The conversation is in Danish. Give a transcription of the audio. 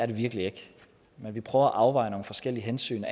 det virkelig ikke men vi prøver at afveje nogle forskellige hensyn